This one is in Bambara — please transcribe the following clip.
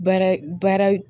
Baara baara